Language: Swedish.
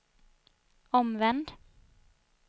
omvänd